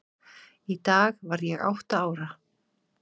Í dag varð ég átta ára.